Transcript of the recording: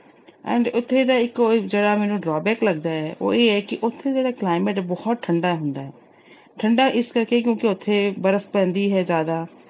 and ਉੱਥੇ ਦਾ ਇੱਕੋ-ਇੱਕ ਅਜਿਹਾ ਮੈਨੂੰ drawback ਲੱਗਦਾ ਏ, ਉਹ ਇਹ ਹੈ ਕਿ ਉਥੇ ਜਿਹੜਾ climate ਆ, ਉਹ ਬਹੁਤ ਠੰਡਾ ਹੁੰਦਾ। ਠੰਡਾ ਇਸ ਕਰਕੇ ਕਿਉਂਕਿ ਉਥੇ ਬਰਫ਼ ਪੈਂਦੀ ਹੈ ਜਿਆਦਾ।